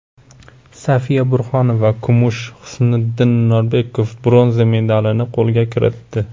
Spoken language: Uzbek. Safiya Burxonova kumush, Husniddin Norbekov bronza medalini qo‘lga kiritdi.